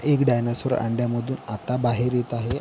एक डायनोसॉर अंड्या मधून आता बाहेर येत आहे.